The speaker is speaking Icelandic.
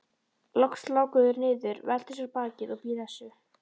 Loks láku þeir niður, veltu sér á bakið og blésu.